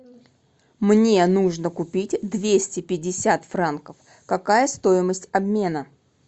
мне нужно купить двести пятьдесят франков какая стоимость обмена